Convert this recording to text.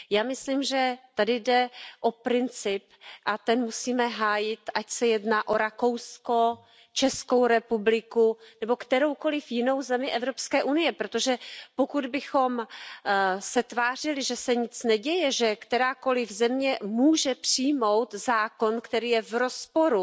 Já myslím, že tady jde o princip, a ten musíme hájit, ať se jedná o Rakousko, Českou republiku nebo kteroukoliv jinou zemi Evropské unie, protože pokud bychom se tvářili, že se nic neděje, že kterákoliv země může přijmout zákon, který je v rozporu